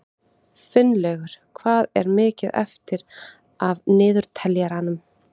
Finnlaugur, hvað er mikið eftir af niðurteljaranum?